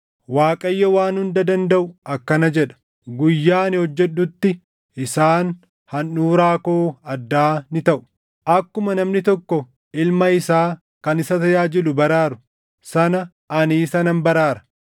Waaqayyo Waan Hunda Dandaʼu akkana jedha; “Guyyaa ani hojjedhutti isaan handhuuraa koo addaa ni taʼu. Akkuma namni tokko ilma isaa kan isa tajaajilu baraaru sana ani isa nan baraara.